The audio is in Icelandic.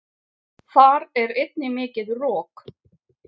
Þar er einnig mikið rok.